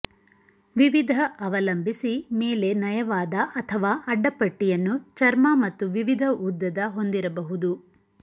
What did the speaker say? ವಿವಿಧ ಅವಲಂಬಿಸಿ ಮೇಲೆ ನಯವಾದ ಅಥವಾ ಅಡ್ಡಪಟ್ಟಿಯನ್ನು ಚರ್ಮ ಮತ್ತು ವಿವಿಧ ಉದ್ದದ ಹೊಂದಿರಬಹುದು